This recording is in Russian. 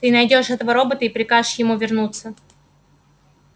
ты найдёшь этого робота и прикажешь ему вернуться